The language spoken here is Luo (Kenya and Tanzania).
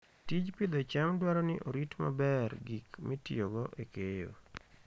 Tij pidho cham dwaro ni orit maber gik mitiyogo e keyo.